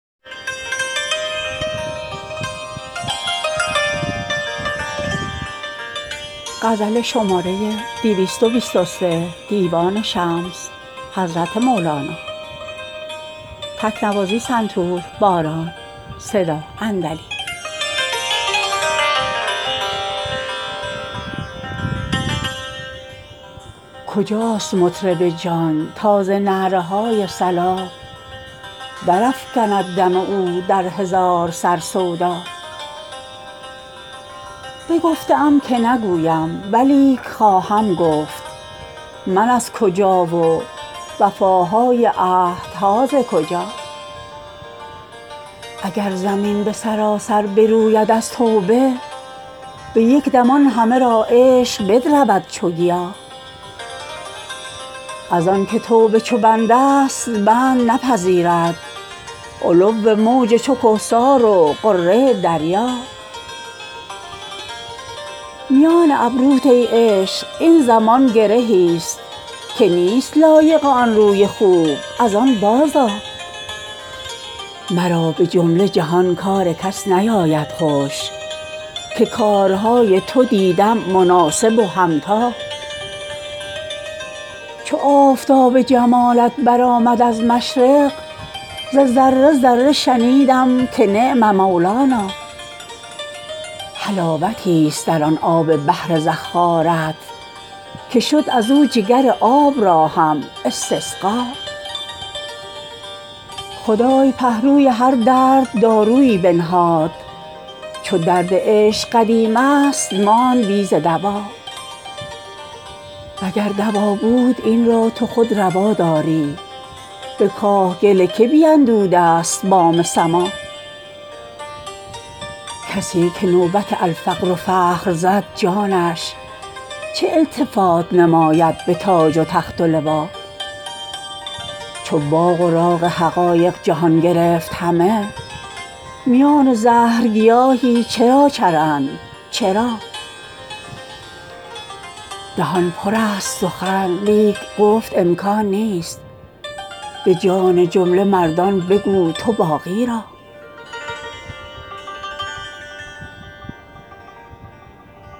کجاست مطرب جان تا ز نعره های صلا درافکند دم او در هزار سر سودا بگفته ام که نگویم ولیک خواهم گفت من از کجا و وفاهای عهدها ز کجا اگر زمین به سراسر بروید از توبه به یک دم آن همه را عشق بدرود چو گیا از آنک توبه چو بندست بند نپذیرد علو موج چو کهسار و غره دریا میان ابروت ای عشق این زمان گرهی ست که نیست لایق آن روی خوب از آن باز آ مرا به جمله جهان کار کس نیاید خوش که کارهای تو دیدم مناسب و همتا چو آفتاب جمالت برآمد از مشرق ز ذره ذره شنیدم که نعم مولانا حلاوتی ست در آن آب بحر زخارت که شد از او جگر آب را هم استسقا خدای پهلوی هر درد دارویی بنهاد چو درد عشق قدیم است ماند بی ز دوا وگر دوا بود این را تو خود روا داری به کاه گل که بیندوده است بام سما کسی که نوبت الفقر فخر زد جانش چه التفات نماید به تاج و تخت و لوا چو باغ و راغ حقایق جهان گرفت همه میان زهر گیاهی چرا چرند چرا دهان پرست سخن لیک گفت امکان نیست به جان جمله مردان بگو تو باقی را